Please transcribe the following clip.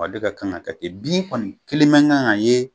Ale ka kan ka kɛ ten. Bin kɔni kelen man kan ka ye